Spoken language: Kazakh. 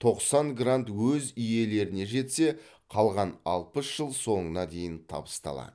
тоқсан грант өз иелеріне жетсе қалған алпыс жыл соңына дейін табысталады